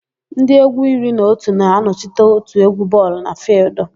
Ndị égwú iri na otu na-anọchite òtù égwú bọọlụ na fịịldụ.